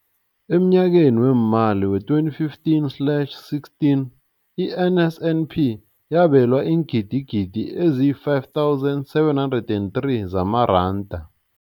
Emnyakeni weemali we-2015 slash 16, i-NSNP yabelwa iingidigidi ezi-5 703 zamaranda.